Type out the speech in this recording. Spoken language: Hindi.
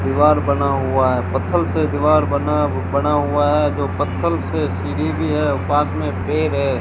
दीवार बना हुआ है पत्थल से दीवार बना बना हुआ है जो पत्थल से सीढ़ी भी है पास में पेड़ है।